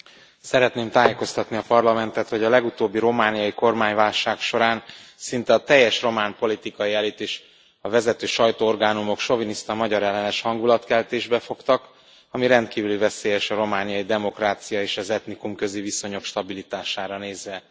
Elnök Úr, szeretném tájékoztatni a Parlamentet, hogy a legutóbbi romániai kormányválság során szinte a teljes román politikai elit és a vezető sajtóorgánumok soviniszta magyarellenes hangulatkeltésbe fogtak, ami rendkívül veszélyes a romániai demokrácia és az etnikumközi viszonyok stabilitására nézve.